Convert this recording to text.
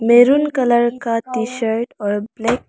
maroon colour T टी शर्ट और ब्लैक --